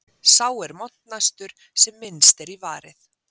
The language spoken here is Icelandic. Sá er montnastur sem minnst er í varið.